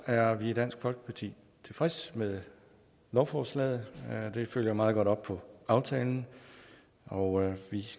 er vi i dansk folkeparti tilfredse med lovforslaget det følger meget godt op på aftalen og vi